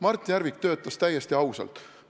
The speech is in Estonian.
Mart Järvik töötas täiesti ausalt.